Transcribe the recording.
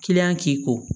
k'i ko